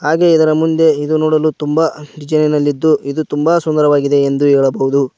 ಹಾಗೆ ಇದರ ಮುಂದೆ ಇದು ನೋಡಲು ತುಂಬಾ ಇದ್ದು ಇದು ತುಂಬಾ ಸುಂದರವಾಗಿದೆ ಎಂದು ಹೇಳಬಹುದು.